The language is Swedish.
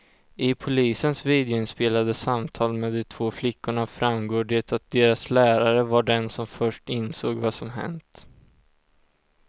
I polisens videoinspelade samtal med de två flickorna framgår det att deras lärare var den som först insåg vad som hänt.